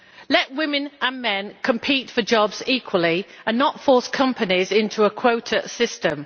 Let women and men compete for jobs equally, and do not force companies into a quota system.